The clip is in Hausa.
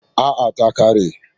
A'a, ta ƙare.